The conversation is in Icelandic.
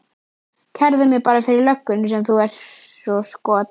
Kærðu mig bara fyrir löggunni sem þú ert svo skot